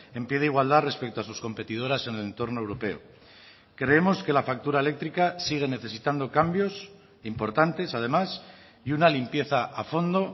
en pie de igualdad respecto a sus competidoras en el entorno europeo creemos que la factura eléctrica sigue necesitando cambios importantes además y una limpieza a fondo